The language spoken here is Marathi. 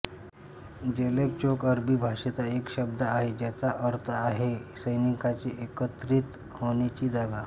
जलेब चौक अरबी भाषेचा एक शब्द आहे ज्याचे अर्थ आहे सैनिकांचे एकत्रित होने ची जागा